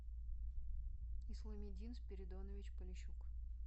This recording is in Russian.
исламидин спиридонович полищук